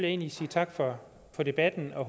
egentlig sige tak for debatten og